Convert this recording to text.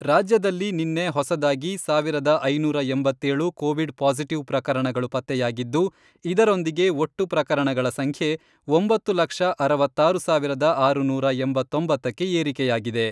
ರಾಜ್ಯದಲ್ಲಿ ನಿನ್ನೆ ಹೊಸದಾಗಿ ಸಾವಿರದ ಐನೂರ ಎಂಬತ್ತೇಳು ಕೋವಿಡ್ ಪಾಸಿಟಿವ್ ಪ್ರಕರಣಗಳು ಪತ್ತೆಯಾಗಿದ್ದು, ಇದರೊಂದಿಗೆ ಒಟ್ಟು ಪ್ರಕರಣಗಳ ಸಂಖ್ಯೆ ಒಂಬತ್ತು ಲಕ್ಷ ಅರವತ್ತಾರು ಸಾವಿರದ ಆರುನೂರಾ ಎಂಬತ್ತೊಂಬತ್ತಕ್ಕೆ ಏರಿಕೆಯಾಗಿದೆ.